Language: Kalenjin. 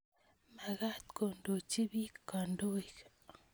Makat kondochi piik kandoik